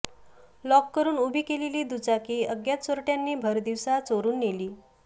lock करून उभी केलेली दुचाकी अज्ञात चोरट्यांनी भरदिवसा चोरून नेली